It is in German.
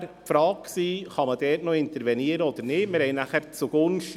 Daraufhin stellte sich die Frage, ob man dort noch intervenieren könne oder nicht.